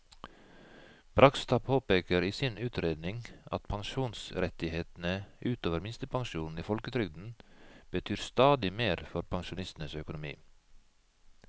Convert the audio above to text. Bragstad påpeker i sin utredning at pensjonsrettighetene ut over minstepensjonen i folketrygden betyr stadig mer for pensjonistenes økonomi.